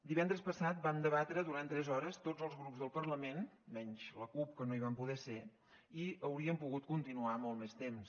divendres passat vam debatre durant tres hores tots els grups del parlament menys la cup que no hi van poder ser i hauríem pogut continuar molt més temps